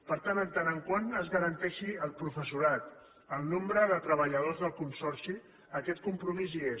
per tant en tant que es garanteixi el professorat el nombre de treballadors del consorci aquest compromís hi és